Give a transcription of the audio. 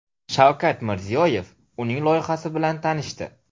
Shavkat Mirziyoyev uning loyihasi bilan tanishdi.